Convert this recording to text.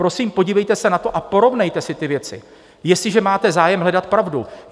Prosím, podívejte se na to a porovnejte si ty věci, jestliže máte zájem hledat pravdu.